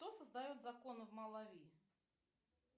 кто создает законы в малави